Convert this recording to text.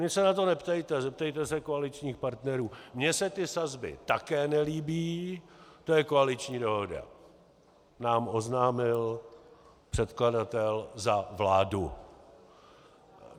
"Mě se na to neptejte, zeptejte se koaličních partnerů, mně se ty sazby také nelíbí, to je koaliční dohoda" nám oznámil předkladatel za vládu.